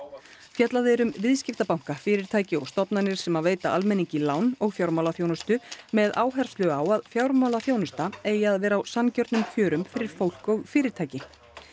fjallað er um viðskiptabanka fyrirtæki og stofnanir sem veita almenningi lán og fjármálaþjónustu með áherslu á að fjármálaþjónusta eigi að vera á sanngjörnum kjörum fyrir fólk og fyrirtæki